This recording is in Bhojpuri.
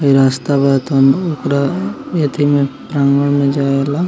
इ रास्ता बहुत ओकरा एके में मजा आएला।